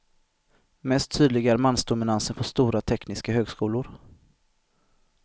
Mest tydlig är mansdominansen på stora tekniska högskolor.